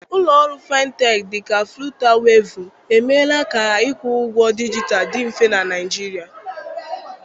Ụlọ ọrụ Fintech dị ka Flutaweevu emeela ka ka ịkwụ ụgwọ dijitalụ dị mfe na Naịjirịa